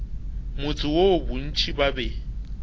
motse woo bontši ba be